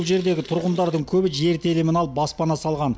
бұл жердегі тұрғындардың көбі жер телімін алып баспана салған